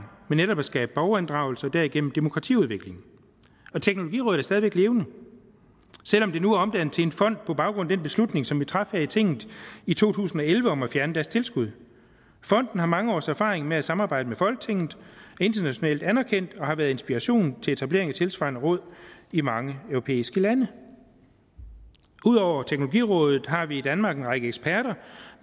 med netop at skabe borgerinddragelse og derigennem demokratiudvikling og teknologirådet er stadig væk levende selv om det nu er omdannet til en fond på baggrund af den beslutning som vi traf her i tinget i to tusind og elleve om at fjerne deres tilskud fonden har mange års erfaring med at samarbejde med folketinget er internationalt anerkendt og har været en inspiration til etablering af tilsvarende råd i mange europæiske lande ud over teknologirådet har vi i danmark en række eksperter